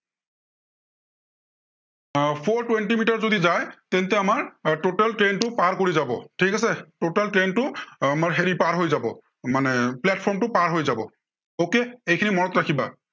আহ four twenty metre যদি যায়, তেন্তে আমাৰ আহ total train টো পাৰ কৰি যাব, ঠিক আছে, total train টো আহ আমাৰ হেৰি পাৰ হৈ যাব, মানে platform টো পাৰ হৈ যাব। okay সেইখিনি মনত ৰাখিবা।